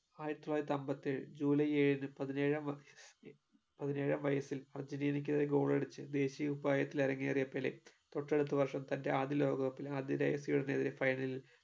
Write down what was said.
ആയിരത്തിതൊള്ളായിരത്തിഅമ്പത്തിയേഴ് July ഏഴിന് പതിനേഴാം വാ പതിനേഴാം വയസ്സിൽ അർജെന്റീനയ്‌ക്കെതിരെ goal അടിച് ദേശിയ കുപ്പായത്തിൽ ഇറങ്ങിയ പെലെ തൊട്ടടുത്ത വർഷം തന്റെ ആദ്യ ലോകകപ്പിൽ ആതിഥേയ സ്വീഡനെതിരെ final ൽ